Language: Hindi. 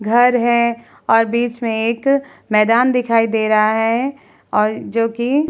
घर है और बीच में एक मैदान दिखाई दे रहा है और जोकि --